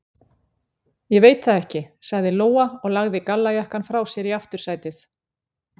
Ég veit það ekki, sagði Lóa og lagði gallajakkann frá sér í aftursætið.